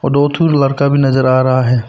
दो ठो लड़का भी नजर आ रहा है।